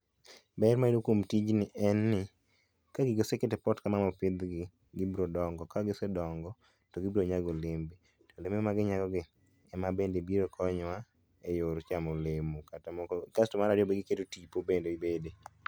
ber mayude kuom tijni en ni ka gigi oseket e pot kama mopidh gi to gibiro dongo ka gise dongo to gibiro nyago olembe to olembe magi nyago gi ema bende biro konyowa e yor chamo olemo kata kasto mar ariyo giketo tipo bende bede.